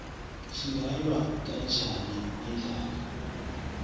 singalwa kanjani nendlala